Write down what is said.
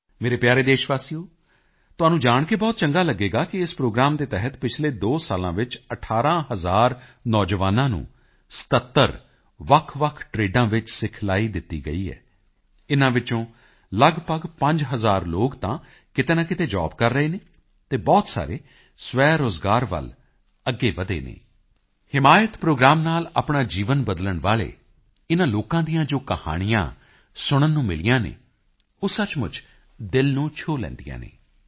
ਮੇਰੇ ਪਿਆਰੇ ਦੇਸ਼ਵਾਸੀਓ ਤੁਹਾਨੂੰ ਜਾਣ ਕੇ ਬਹੁਤ ਚੰਗਾ ਲਗੇਗਾ ਕਿ ਇਸ ਪ੍ਰੋਗਰਾਮ ਦੇ ਤਹਿਤ ਪਿਛਲੇ 2 ਸਾਲਾਂ ਵਿੱਚ 18 ਹਜ਼ਾਰ ਨੌਜਵਾਨਾਂ ਨੂੰ 77 ਵੱਖਵੱਖ ਟ੍ਰੇਡਾਂ ਵਿੱਚ ਸਿਖਲਾਈ ਦਿੱਤੀ ਗਈ ਹੈ ਇਨ੍ਹਾਂ ਵਿੱਚੋਂ ਲੱਗਭਗ 5 ਹਜ਼ਾਰ ਲੋਕ ਤਾਂ ਕਿਤੇ ਨਾ ਕਿਤੇ ਜੋਬ ਕਰ ਰਹੇ ਹਨ ਅਤੇ ਬਹੁਤ ਸਾਰੇ ਸਵੈਰੋਜ਼ਗਾਰ ਵੱਲ ਅੱਗੇ ਵਧੇ ਹਨ ਹਿਮਾਇਤ ਪ੍ਰੋਗਰਾਮ ਨਾਲ ਆਪਣਾ ਜੀਵਨ ਬਦਲਣ ਵਾਲੇ ਇਨ੍ਹਾਂ ਲੋਕਾਂ ਦੀਆਂ ਜੋ ਕਹਾਣੀਆਂ ਸੁਣਨ ਨੂੰ ਮਿਲੀਆਂ ਹਨ ਉਹ ਸਚਮੁੱਚ ਦਿਲ ਨੂੰ ਛੂਹ ਲੈਂਦੀਆਂ ਹਨ